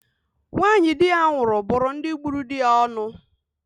Nwanyị di ya nwụrụ bụrụ ndị gburu di ya onu.